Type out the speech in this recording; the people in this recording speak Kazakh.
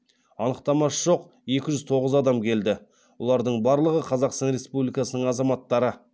анықтамасы жоқ екі жүз тоғыз адам келді олардың барлығы қазақстан республикасының азаматтары